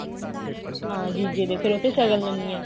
ਹਾਂ ਜੀਜੇ ਦੇ ਫ਼ੇਰ ਉਹ ਤੋਂ ਸ਼ਗਨ ਲੈਂਦੀਆਂ